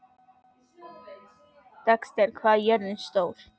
Dexter, hvað er jörðin stór?